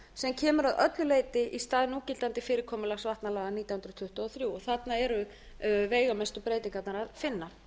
sem kemur að öllu leyti í stað núgildandi fyrirkomulags vatnalaga nítján hundruð tuttugu og þrjú þarna eru veigamesta breytingarnar að finna